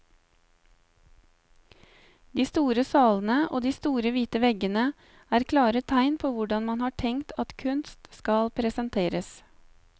De store salene og de store hvite veggene er klare tegn på hvordan man har tenkt at kunst skal presenteres.